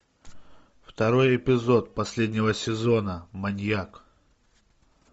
второй эпизод последнего сезона маньяк